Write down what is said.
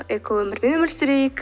экоөмірмен өмір сүрейік